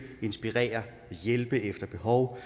inspirere og hjælpe efter behov